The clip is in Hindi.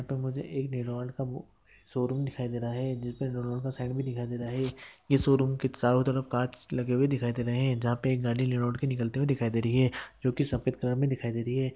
यहाँ पे मुझे एक रेनॉल्ट का शोरूम दिखाई दे रहा है जिसमे हम लोग को साइक मे दिखाई दे रहा है यह शोरूम के चारों तरफ कांच लगे हुए दिखाई दे रहे है जहां पे एक नई रेनॉल्ट निकलती हुई दिखाई दे रही है जो की सफेद कलर मे दिखाई दे रही है।